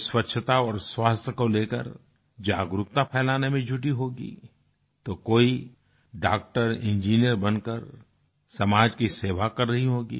कोई स्वच्छता और स्वास्थ्य को लेकर जागरूकता फैलाने में जुटी होगी तो कोई डॉक्टर इंजीनियर बन कर समाज की सेवा कर रही होगी